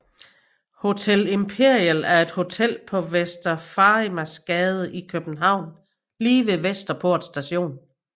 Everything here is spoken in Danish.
Hotel Imperial er et hotel på Vester Farimagsgade i København lige ved Vesterport Station